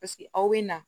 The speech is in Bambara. Paseke aw bɛ na